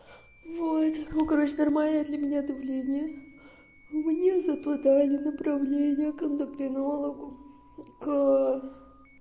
вот ну короче нормально для меня давление у меня зато дали направление к эндокринологу к